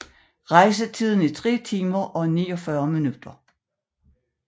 Rejsetiden er 3 timer og 49 minutter